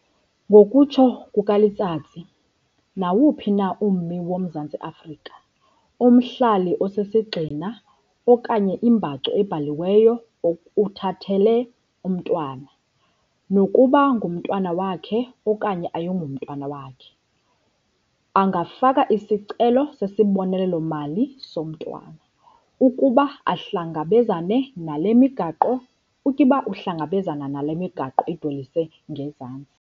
Ngokutsho kukaLetsatsi, nawuphi na ummi woMzantsi Afrika, umhlali osisigxina okanye imbacu ebhaliweyo uthathele umntwana, nokuba ngumntwana wakhe okanye ayingomntwana wakhe, angafaka isicelo sesibonelelo-mali somntwana, ukuba uhlangabezana nale migaqo idweliswe ngezantsi.